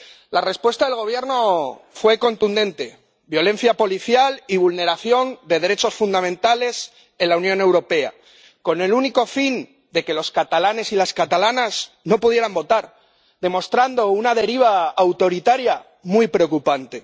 La respuesta del Gobierno fue contundente violencia policial y vulneración de derechos fundamentales en la Unión Europea, con el único fin de que los catalanes y las catalanas no pudieran votar, demostrando una deriva autoritaria muy preocupante.